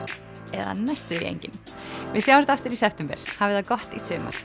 eða næstum því engin við sjáumst aftur í september hafið það gott í sumar